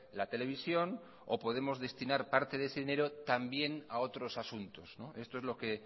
la televisión o podemos destinar parte de ese dinero también a otros asuntos esto es lo que